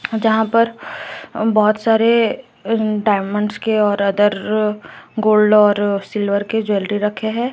जहां पर बहोत सारे डायमंड्स के और अदर गोल्ड और सिल्वर के ज्वैलरी रखे हैं।